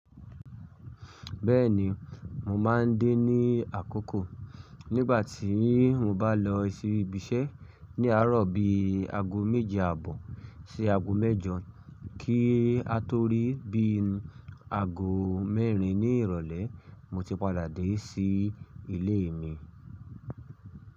Bẹ́ẹ̀ni, mo máa ń dé ní àkókò nígbà tí mo bá lọ sí ibiṣẹ́ ní àárọ̀ bí i aago méje àbọ̀ sí aago mẹ́jọ, kí a tó rí bí i aago mẹ́rin ní ìrọ̀lẹ́ mo ti padà dé sí ilé mi.